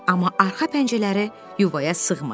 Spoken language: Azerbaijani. Amma arxa pəncərələri yuvaya sığmadı.